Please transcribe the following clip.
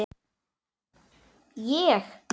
LÁRUS: Ég?